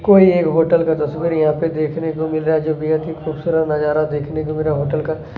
कोई एक होटल का तस्वीर यहाँ पे देखने को मिल रहा है जो बहुत ही खुबसुरत नजारा दिखने को मिल रहा हैहोटल का--